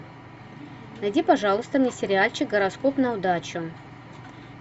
найди пожалуйста мне сериальчик гороскоп на удачу